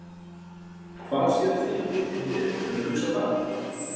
Hvar sérðu þig fitta inn í liðið, hefurðu hugsað það?